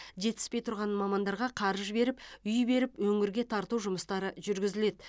жетіспей тұрған мамандарға қаржы беріп үй беріп өңірге тарту жұмыстары жүргізіледі